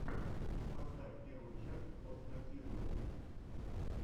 поставь первую часть остра тирнина